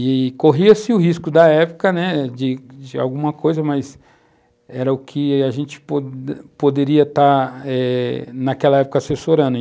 E corria-se o risco da época, né, de alguma coisa, mas era o que a gente poderia estar naquela época assessorando.